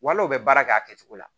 Wal'u bɛ baara kɛ a kɛcogo la